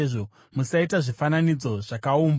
“Musaita zvifananidzo zvakaumbwa.